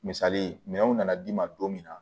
Misali ye minɛnw nana d'i ma don min na